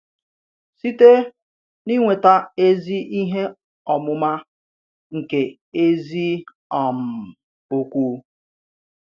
Sìtè n’ìnwèta ezi ìhè ọmụma nke ezi um òkwù.